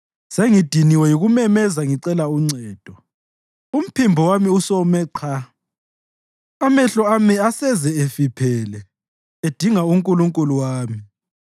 Sengidiniwe yikumemeza ngicela uncedo; umphimbo wami usome qha. Amehlo ami aseze efiphele, edinga uNkulunkulu wami.